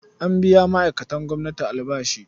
An biya ma'aikatan gwamnati albashi.